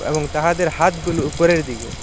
এবং তাহাদের হাতগুলো উপরের দিকে।